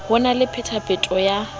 ho na le phetapheto ya